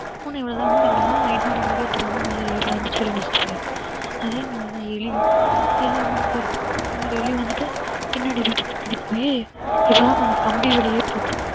பூனை எங்கிட்டுனாலும் night நேரம் எங்களுக்கே தெரியாம மேல ஏறி வந்து முடிச்சிட்டு போயிடும் அதே மாதிரி தான் எலியும் எலி என்ன பண்ணும் இதே மாதிரி எலி வந்துட்டு பின்னாடி வந்துட்டு பின்னாடி போயி இப்பதான் நாங்க கம்பி வேலியே போட்டிருக்கோம்